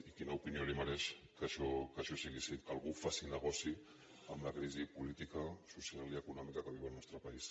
i quina opinió li mereix que això sigui així que algú faci negoci amb la crisi política social i econòmica que viu el nostre país